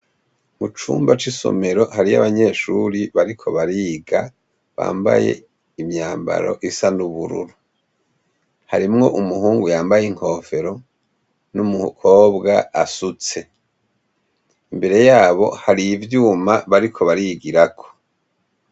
Mu cumba c'isomero hariyo abanyeshure bariko bariga, bambaye imyambaro isa n'ubururu. Harimwo umuhungu yambaye inkofero n'umukobwa asutse. Imbere yabo hari ivyuma bariko barigirako.